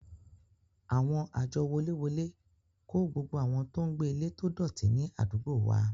Àwọn àjọ woléwolé kó gbogbo àwọn tó ń gbé ilé tó dọ̀tí ní àdúgbò wa